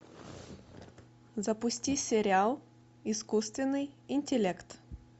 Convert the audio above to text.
запусти сериал искусственный интеллект